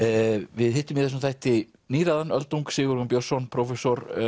við hittum í þessum þætti níræðan öldung Sigurjón Björnsson prófessor